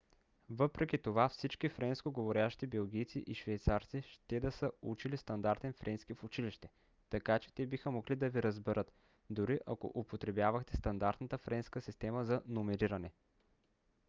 въпреки това всички френскоговорящи белгийци и швейцарци ще да са учили стандартен френски в училище така че те биха могли да ви разберат дори ако употребявахте стандартната френска система за номериране